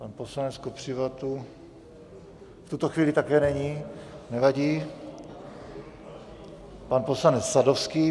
Pan poslanec Kopřiva tu v tuto chvíli také není, nevadí, pan poslanec Sadovský.